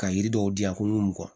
Ka yiri dɔw di yan ko mugan